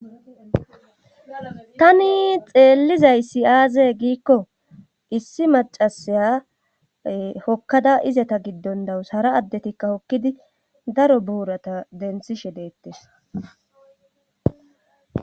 Tani xeellizay siyaaze giikko issi macasaya hokkada izata giddon dawus hara addetikka hokkidi daro buurata denthishe deettes.